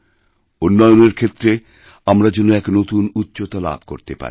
উন্নয়নের ক্ষেত্রে আমরা যেন এক নতুনউচ্চতা লাভ করতে পারি